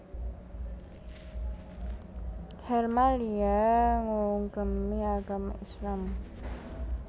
Helmalia ngugemi agama Islam